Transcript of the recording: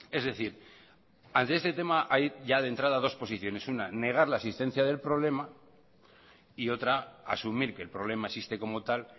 es decir ante este tema hay ya de entrada dos posiciones una negar la existencia del problema y otra asumir que el problema existe como tal